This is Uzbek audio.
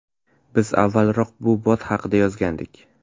Biz avvalroq bu bot haqida yozgandik .